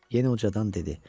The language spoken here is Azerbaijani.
Yenə ucadan dedi: